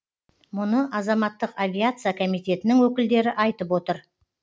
мұны азаматтық авиация комитетінің өкілдері айтып отыр